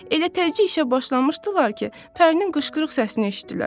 Elə təzə işə başlamışdılar ki, Pərinin qışqırıq səsini eşitdilər.